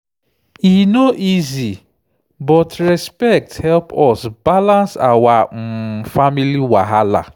e no easy but respect help us balance our um family wahala.